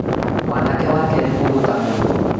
Mwanake wake nĩ mũgũta mũno